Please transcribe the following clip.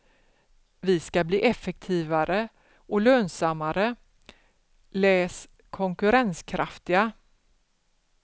Vi ska bli effektivare och lönsammare, läs konkurrenskraftiga.